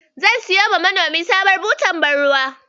Zan siyowa manomin sabuwar butar ban ruwa.